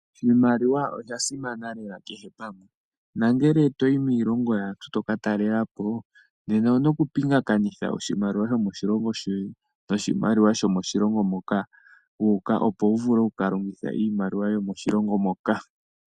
Iimaliwa oya simana lela kehe pamwe. Nongele toyi miilongo yaantu toka talela po nena owu na okupingakanitha oshimaliwa shomodhilongo shoye noshimaliwa sho moshilongo moka wu uka opo wu vule okukalongitha iimaliwa yomoshilongo moka.